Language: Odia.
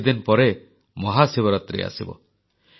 କିଛିଦିନ ପରେ ମହାଶିବରାତ୍ରୀ ଆସିବ